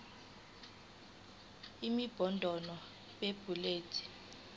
imibono b bullets